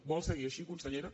vol seguir així consellera